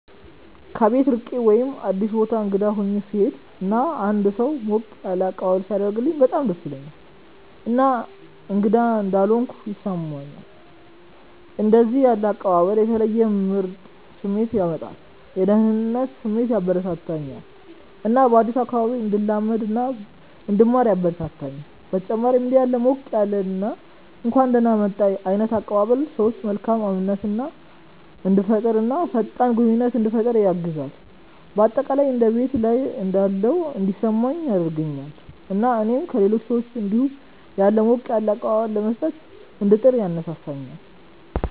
ከቤት ርቄ ወይም አዲስ ቦታ እንግዳ ሆኜ ስሄድ እና አንድ ሰው ሞቅ ያለ አቀባበል ሲያደርግልኝ በጣም ደስ ይለኛል እና እንግዳ እንዳልሆንኩ ያስሰማኛል። እንደዚህ ያለ አቀባበል የተለየ ምርጥ ስሜት ያመጣል፤ የደህንነት ስሜት ያበረከተልኛል እና በአዲሱ አካባቢ እንድለማመድ እና እንድማር ያበረታታኛል። በተጨማሪም እንዲህ ያለ ሞቅ ያለ እና እንኳን ደህና መጣህ ዓይነት አቀባበል ሰዎች መካከል እምነትን እንዲፈጠር እና ፈጣን ግንኙነት እንዲፈጠር ያግዛል። በአጠቃላይ እንደ ቤት ላይ እንዳለሁ እንዲሰማኝ ያደርገኛል እና እኔም ለሌሎች ሰዎች እንዲሁ ያለ ሞቅ ያለ አቀባበል ለመስጠት እንድጥር ያነሳሳኛል።